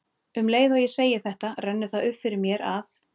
Um leið og ég segi þetta rennur það upp fyrir mér að